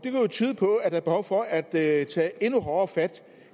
tyde på at der er behov for at tage endnu hårdere fat